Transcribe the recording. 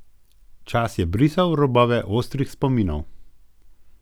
Čas je brisal robove ostrih spominov.